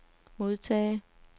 modtage